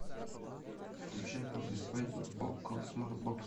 включай после свадьбы окко смарт бокс